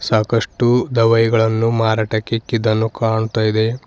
ಸಾಕಷ್ಟು ದವಾಯಿಗಳನ್ನು ಮಾರಾಟಕ್ಕೆ ಇಕ್ಕಿದ್ದನ್ನು ಕಾಣ್ತಾ ಇದೆ.